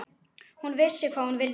Hún vissi hvað hún vildi.